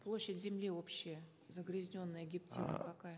площадь земли общая загрязненная гептилом какая